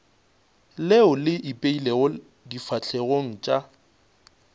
leo le ipeilego difahlegong tša